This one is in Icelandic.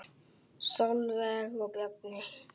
Sólveig og Bjarni.